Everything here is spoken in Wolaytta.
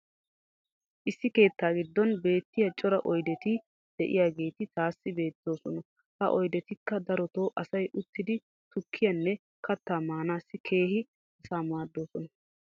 issi keettaa giddon beettiya cora oydeti diyaageeti taassi beettoosona. ha oydettikka darotoo asay uttidi tukkiyaanne kattaa maanaassi keehi asaa maadoosona.